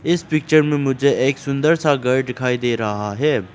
इस पिक्चर में मुझे एक सुंदर सा घर दिखाई दे रहा है।